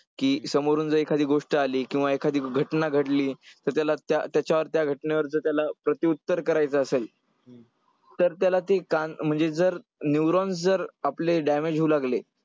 की समोरून जर एखादी गोष्ट आली किंवा एखादी घटना घडली तर त्याला त्या त्याच्यावर त्या घटनेवर जर त्याला प्रतिउत्तर करायचं असेल तर त्याला ते म्हणजे जर neuron जर आपले damage होऊ लागले,